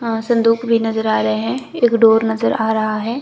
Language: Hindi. हां संदूक भी नजर आ रहे हैं एक डोर नजर आ रहा है।